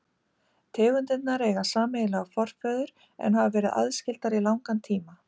Tegundirnar eiga sameiginlegan forföður en hafa verið aðskildar í langan tíma.